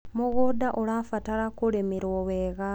mũgũnda ũrabatara kũrĩmirwo wega